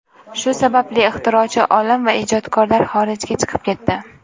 Shu sababli ixtirochi olim va ijodkorlar xorijga chiqib ketdi.